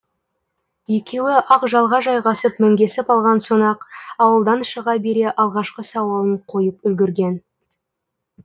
екеуі ақжалға жайғасып мінгесіп алған соң ақ ауылдан шыға бере алғашқы сауалын қойып үлгірген